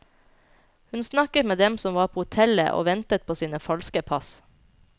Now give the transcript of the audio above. Hun snakket med dem som var på hotellet og ventet på sine falske pass.